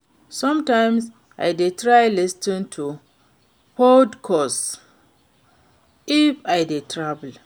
Sometimes I dey try lis ten to podcasts if I dey travel.